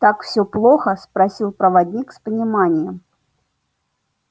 так всё плохо спросил проводник с пониманием